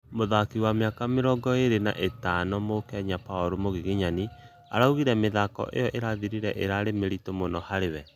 mũthakĩ wa mĩaka mĩrongo ĩrĩ na ĩthano mũkenya Paulu Mugiginyani, aũgĩte mĩthako ĩyo ĩrathĩrire ĩrarĩ mĩrĩtu mũno harĩ we